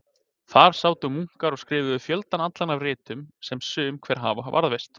Þar sátu munkar og skrifuðu fjöldann allan af ritum sem sum hver hafa varðveist.